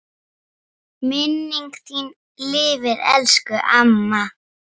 Minning þín lifir elsku amma.